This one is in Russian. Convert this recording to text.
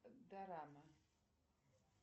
дорама